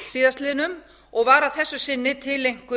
síðastliðinn og var að þessu sinni tileinkuð